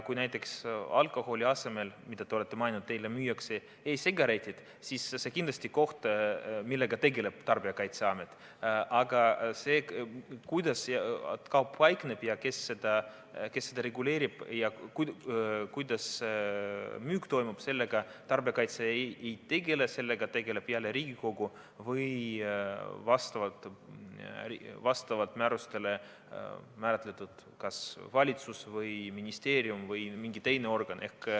Kui näiteks alkoholi asemel, mida te mainisite, müüakse teile e-sigaretid, siis see on kindlasti juhtum, millega tegeleb Tarbijakaitseamet, aga sellega, kuidas kaup paikneb, kes seda reguleerib ja kuidas müük toimub, tarbijakaitse ei tegele, sellega tegeleb jälle Riigikogu või vastavalt määrustele kas valitsus, ministeerium või mõni teine organ.